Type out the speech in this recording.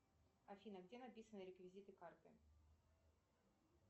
афина где написаны реквизиты карты